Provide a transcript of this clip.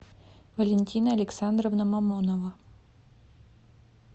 валентина александровна мамонова